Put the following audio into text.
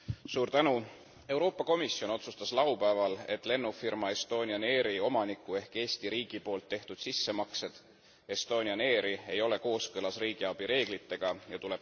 Euroopa Komisjon otsustas laupäeval, et lennufirma Estonian Airi omaniku ehk Eesti riigi poolt tehtud sissemaksed Estonian Airi ei ole kooskõlas riigiabi reeglitega ja tuleb tagasi maksta.